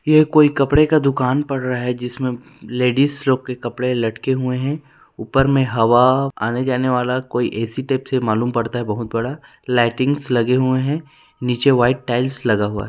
ये कोई कपडे का दुकान पड़ रहा है जिसमें लेडिस लोग के कपडे लटके हुए है ऊपर में हवा आने जाने वाला कोई ए_सी टाइप से मालूम पड़ता है कोई बहुत बड़ा लाइटिंग्स लगे हुए है नीचे वाइट टाइल्स लगा हुआ है।